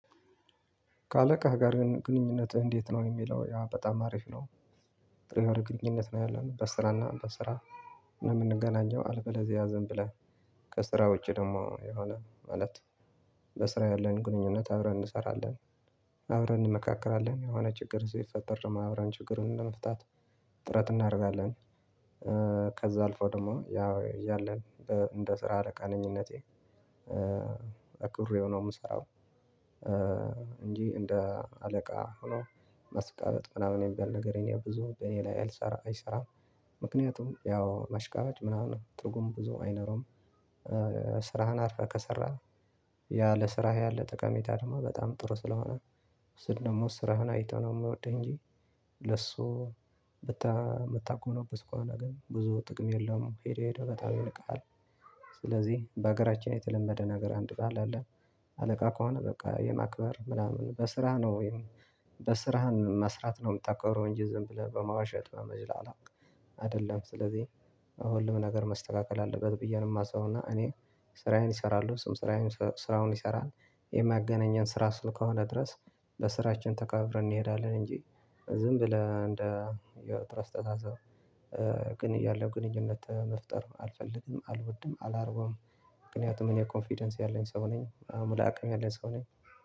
ከአለቃ ጋር ግንኙነትህ እንዴት ነው የሚለው ያ በጣም አሪፍ ነው። ግንኙነት ነው ያለን በስራና በስራ እንደምንገናኘው አልበለዝያ ዝም ብለን ከስራ ውጪ ደግሞ የሆነ ማለት በስራ ያለን ግንኙነት አብረን እንሰራለን አብረን እንመካከራለን የሆነ ችግር ሲፈጠር አብረን ችግሩን ለመፍታት ጥረት እናረጋለን። ከዛ አልፎ ደግሞ ያው እያለን በ እንደ ስራ አለቃነኝነቴ አክብሬው ነው የምሰራው እንጂ እንደ አለቃ ሆኖ ማስቀመጥ ምናምን የሚባል ነገር የለም ብዙ በእኔ ላይ አልሰራ አይሰራም። ምክንያቱም ያው መሽቃበጭ ምናምን ትርጉም ብዙ አይኖረውም። ስራህን አርፈህ ከሰራህ ያ ለስራህ ያለ ጠቀሜታ ደግሞ በጣም ጥሩ ስለሆነ ሰው ደግሞ ስራህን አይቶ ነው የምወድህ እንጂ ለሱ ብታ የምታኩመነውበት ከሆነ ግን ብዙ ጥቅም የለውም ሄዶ ሄዶ በታች ይነቃል። ስለዚህ በአገራችን የተለመደ ነገር አንድ ቃል አለ። አለቃ ከሆነ በቃ የማክበር ምናምን በስራ ነው ወይም በስራህን መስራት ነው የምታከበረው እንጂ ዝም ብለህ በማዋሸት ነው መዝላላ አይደለም። ስለዚህ አሁን ልምነገር መስተካከል አለበት ብዬ ነው የማስበው እና እኔ ስራዬን አሰራለው ሰዉም ስራዬን ስራውን ይሰራል የማገናኘን ስራ አስከ ሆነ ድረስ በስራችን ተከባብረን እንሄዳለን እንጂ ዝም ብለህ እንደ የጥሩ አስቸሳሳብ ግን ያለው ግንኙነት መፍጠር አልፈልግም አልወድም አላረገውም። ምክንያቱም እኔ ኮንፊደንስ ያለኝ ሰው ነኝ አምላክም ያለኝ ሰው ነኝ።